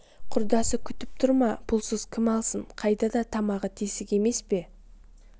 құдасы күтіп тұр ма пұлсыз кім алсын қайда да тамағы тесік емес пе